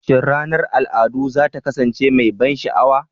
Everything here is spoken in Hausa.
Shin ranar al'adu za ta kasance mai ban sha'awa?